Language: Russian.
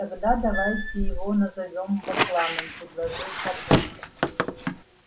тогда давайте его назовём бакланом предложил папулька